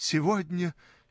сегодня